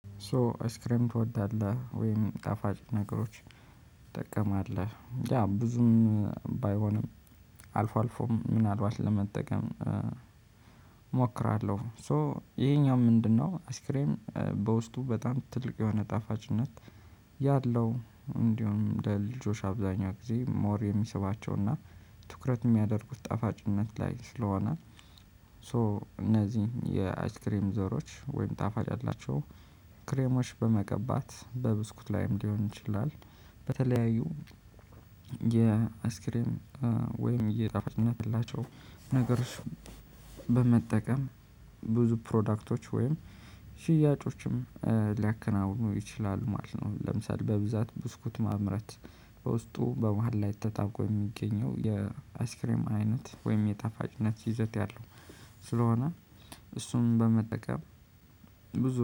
ሶ አይስክሬም ትወዳለህ? ወይም ጣፋጭ ነገሮች ትጠቀማለህ ያ ብዙም ባይሆንም አልፎ አልፎም ምናልባት ለመጠቀም እሞክራለሁ። ሶ ይሄኛው ምንድነው? አስክሬም በውስጡ በጣም ትልቅ የሆነ ጣፋጭነት ያለው እንዲሁም ለልጆች አብዛኛው ጊዜ ሞር የሚስባቸውና ትኩረት የሚያደርጉት ጣፋጭነት ላይ ስለሆነ። ሶ እነዚህ የአይስክሬም ዘሮች ወይም ጣፋጭ አላቸው። ክሬሞች በመቀባት በብስኩት ላይም ሊሆን ይችላል። በተለያዩ የአስክሬን ወይም እየጣፋችን ያላቸው ነገር እሱ በመጠቀም ብዙ ፕሮዳክቶች ወይም ሽያጮችም ሊያከናውኑ ይችላሉ ማለት ነው። ለምሳሌ በብዛት ብስኩት ማምረት በውስጡ በመሃል ላይ ተታውቆ የሚገኘው የአስክሬም አይነት ወይም የጣፋጭነት ይዘት ያለው ስለሆነ እሱን በመጠቀም ብዙ